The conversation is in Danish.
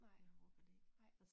Nej. Nej